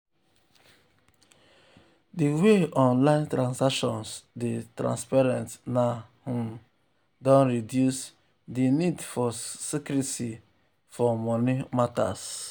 di way online transactions dey transparent um now um don reduce di nid for secrecy for um moni matters.